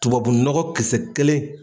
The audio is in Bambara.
Tubabu nɔgɔ kisɛ kelen.